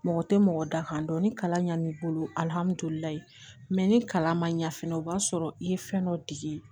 Mɔgɔ tɛ mɔgɔ da kan dɔn ni kalan ɲan'i bolo alihamudulilayi mɛ ni kalan ma ɲa fɛnɛ o b'a sɔrɔ i ye fɛn dɔ dege